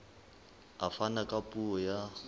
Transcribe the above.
a fana ka puo ya